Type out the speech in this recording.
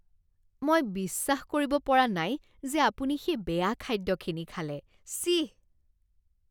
মই বিশ্বাস কৰিব পৰা নাই যে আপুনি সেই বেয়া খাদ্যখিনি খালে। ছিঃ!